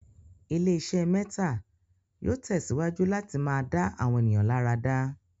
ilé iṣé mẹ́tà yóò tẹ̀síwájú láti máa dá àwọn ènìyàn láradá.